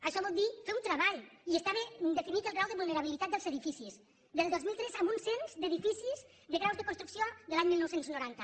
això vol dir fer un treball i està ben definit el grau de vulnerabilitat dels edificis del dos mil tres amb un cens d’edificis de graus de construcció de l’any dinou noranta